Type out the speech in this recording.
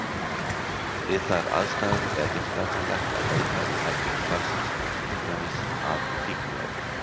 Við þær aðstæður er réttlætanlegt að leita í herbergi barnsins, til dæmis að fíkniefnum.